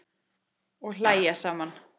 Og hlæja saman.